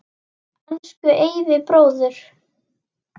Elsku Eyvi bróðir.